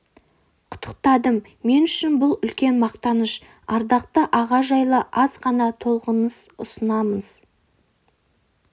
құттықтадым мен үшін бұл үлкен мақтаныш ардақты аға жайлы аз ғана толғанысын ұсынамыз